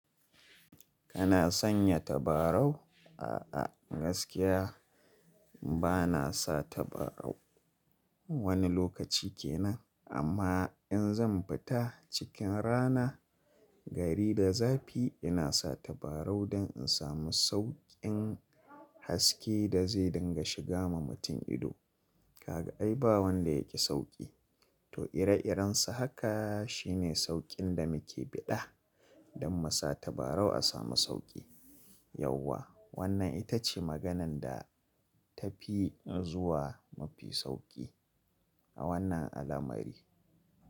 Kana sanya tabarau? A'a gaskiya bana sa tabarau wani lokaci kenan. Amma in zan fita cikin rana gari da zafi ina sa tabarau don in samu sauƙin haske da zai dinga shiga ma mutum ido. Kaga ai ba wanda yaƙi sauƙi to ire-iren sa haka shine sauƙin da muke biɗa don mu sa tabarau a samu sauƙi. Yauwa wannan ita ce maganan da ta fi zuwa mafi sauƙi a wannan al'amari.